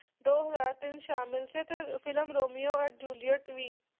ਦੋ ਹਜ਼ਾਰ ਤਿੰਨ ਸ਼ਾਮਿਲ ਸੀ ਤੇ film Romeo and Juliet we